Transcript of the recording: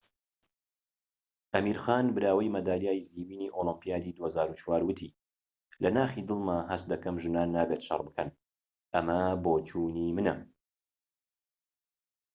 ئەمیر خان براوەی مەدالیای زیوینی ئۆلۆمبیادی ٢٠٠٤، وتی لە ناخی دڵمدا هەست دەکەم ژنان نابێت شەڕ بکەن. ئەمە بۆچوونی منە."